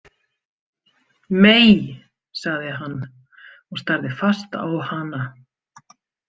Mei, sagði hann og starði fast á hana.